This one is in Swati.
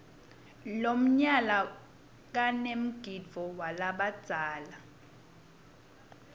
lomnyala kanemgidvo walabadzala